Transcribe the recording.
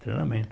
Treinamento.